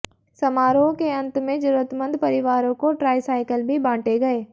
समारोह के अंत में जरूरमंद परिवारों को ट्राई साइकिल भी बांटे गए